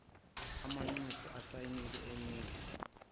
amanxusa asayinile enikwe